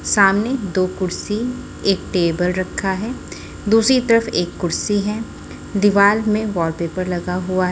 सामने दो कुर्सी एक टेबल रखा है दूसरी तरफ एक कुर्सी है दीवाल में वॉलपेपर लगा हुआ--